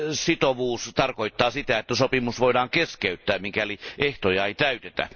Sitovuus tarkoittaa sitä, että sopimus voidaan keskeyttää, mikäli ehtoja ei täytetä.